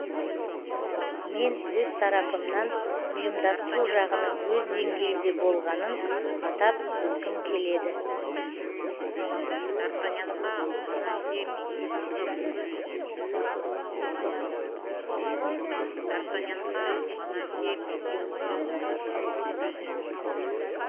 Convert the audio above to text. мен өз тарапымнан ұйымдастыру жағының өз деңгейінде болғанын атап өткім келеді